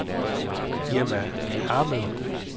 Irma Ahmed